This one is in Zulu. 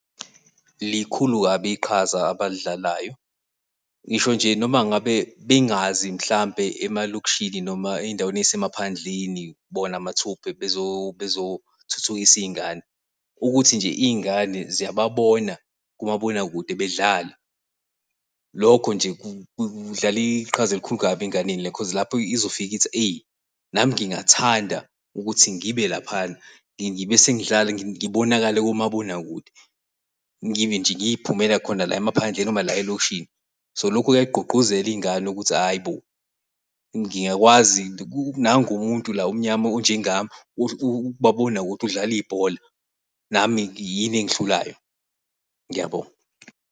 Likhulu kabi iqhaza abalidlalayo ngisho nje noma ngabe bengazi mhlambe emalokishini noma ezindaweni ey'semaphandleni bona mathupha bezothuthukisa iy'ngane. Ukuthi nje iy'ngane ziyababona kumabonakude bedlala. Lokho nje kudlala iqhaza elikhulu kabi enganeni because lapho izofika ithi eyi, nami ngingathanda ukuthi ngibe laphana ngibe sengidlala ngibonakale kumabonakude, ngibe nje ngiy'phumela khona la emaphandleni noma la elokishini. So, lokhu kuyayigqugquzela iy'ngane ukuthi hhayi bo ngingakwazi nangu umuntu omnyama onjengami ukumabonakude udlala ibhola nami yini engihlulayo. Yabo?